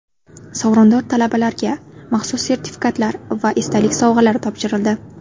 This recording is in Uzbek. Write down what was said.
Sovrindor talabalarga maxsus sertifikatlar va esdalik sovg‘alari topshirildi.